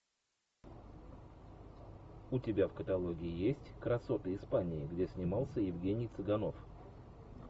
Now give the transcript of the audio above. у тебя в каталоге есть красоты испании где снимался евгений цыганов